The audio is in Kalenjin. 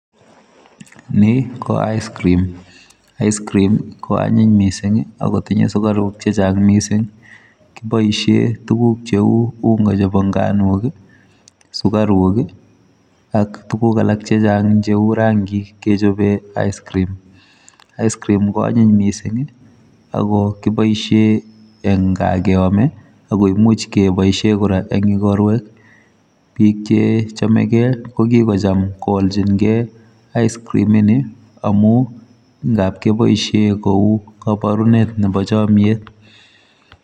Ni ko ice cream. Ice cream ko anyiny missing, akotinye sukaruk chechang' missing. Kibosie tuguk cheu unga chebo nganok, sukaruk ak tuguk alak chechang' cheu rangik kechobe ice cream. Ice cream ko anyiny missing, ago kiboisie eng' gaa keame, agoimuch keboisie kora eng' ikorwek, biik che chamegei, ko kikocham koalchinkey ice cream ini, amu ngapkeboisie kou kabarunet nebo chomyet.